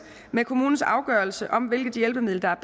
med kommunens afgørelse om hvilket hjælpemiddel der er